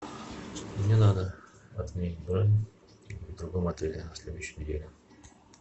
мне надо отменить бронь в другом отеле на следующей неделе